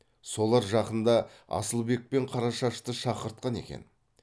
солар жақында асылбек пен қарашашты шақыртқан екен